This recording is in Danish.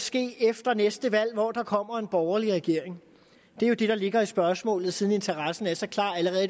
ske efter næste valg hvor der kommer en borgerlig regering det er jo det der ligger i spørgsmålet siden interessen er så klar allerede